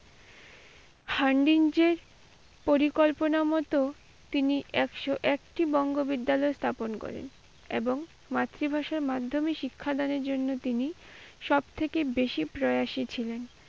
hunding যে পরিকল্পনা মতো তিনি একশো-একটি বঙ্গ বিদ্যালয় স্থাপন করেন। এবং মাতৃভাষার মাধ্যমে শিক্ষাদান এর জন্য তিনি সবথেকে বেশি প্রয়াসী ছিলেন।